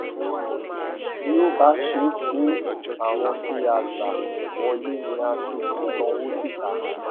bí ó bá ṣe pé àwọn tí a gbà wọlé ni a tún fi ṣọwọ síta